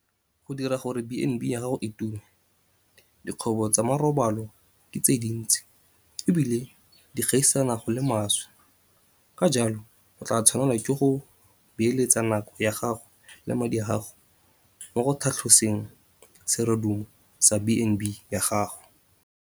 Go dira gore B and B ya gago e tume - Dikgwebo tsa marobalo ke tse dintsi e bile di gaisana go le maswe, ka jalo o tla tshwanelwa ke go beeletsa nako ya gago le madi a gago mo go tlhatloseng serodumo sa B and B ya gago.